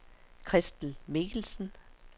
Christel Mikkelsen